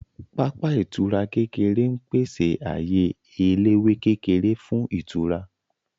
Pápá ìtura kékeré ń pèsè ààyè eléwé kékeré fún ìtura